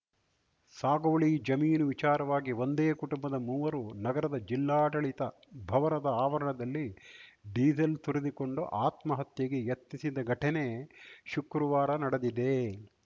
ಸಾಗುವಳಿ ಜಮೀನು ವಿಚಾರವಾಗಿ ಒಂದೇ ಕುಟುಂಬದ ಮೂವರು ನಗರದ ಜಿಲ್ಲಾಡಳಿತ ಭವರದ ಆವರಣದಲ್ಲಿ ಡೀಸೆಲ್‌ ಸುರಿದುಕೊಂಡು ಆತ್ಮಹತ್ಯೆಗೆ ಯತ್ನಿಸಿದ ಘಟನೆ ಶುಕೃವಾರ ನಡೆದಿದೆ